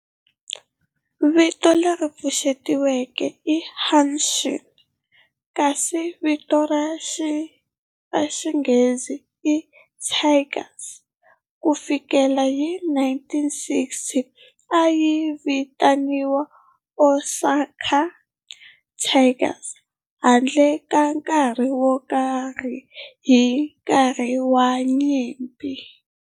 Vito leri pfuxetiweke i Hanshin kasi vito ra xirhangiso i Tigers. Ku fikela hi 1960, a yi vitaniwa Osaka Tigers handle ka nkarhi wo karhi hi nkarhi wa nyimpi.